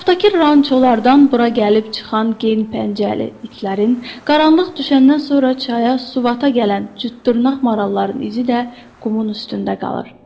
Ətrafdakı rançolardan bura gəlib çıxan gen pəncəli itlərin, qaranlıq düşəndən sonra çaya suvata gələn cütdırnaq maralların izi də qumun üstündə qalır.